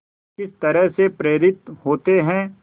किस तरह से प्रेरित होते हैं